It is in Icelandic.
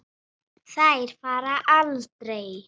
Þær fara aldrei.